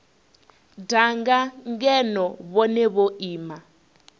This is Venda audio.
danga ngeno vhone vho ima